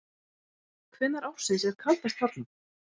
Hvenær ársins er kaldast þarna?